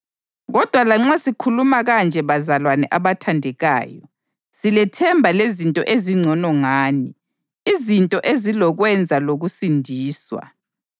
Kodwa lanxa sikhuluma kanje bazalwane abathandekayo, silethemba lezinto ezingcono ngani, izinto ezilokwenza lokusindiswa.